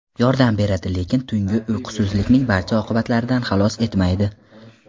Yordam beradi, lekin tungi uyqusizlikning barcha oqibatlaridan xalos etmaydi .